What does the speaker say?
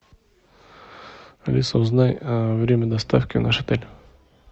алиса узнай время доставки в наш отель